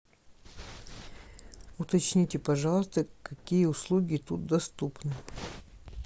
уточните пожалуйста какие услуги тут доступны